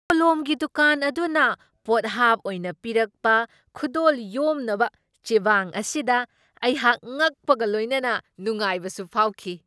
ꯀꯣꯂꯣꯝꯒꯤ ꯗꯨꯀꯥꯟ ꯑꯗꯨꯅ ꯄꯣꯠꯍꯥꯞ ꯑꯣꯏꯅ ꯄꯤꯔꯛꯄ ꯈꯨꯗꯣꯜ ꯌꯣꯝꯅꯕ ꯆꯦꯕꯥꯡ ꯑꯁꯤꯗ ꯑꯩꯍꯥꯛ ꯉꯛꯄꯒ ꯂꯣꯏꯅꯅ ꯅꯨꯡꯉꯥꯏꯕꯁꯨ ꯐꯥꯎꯈꯤ ꯫